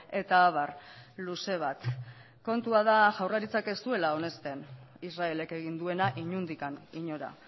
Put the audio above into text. eta abar luze bat kontua da jaurlaritzak ez duela onesten israelek egin duena inondik inora